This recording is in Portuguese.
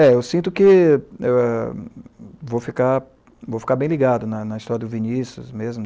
É, eu sinto que vou ficar bem ligado na história do Vinicius mesmo.